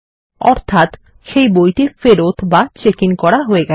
অর্থাত সেই বইটি ফেরত বা চেক ইন করা হয়ে গেছে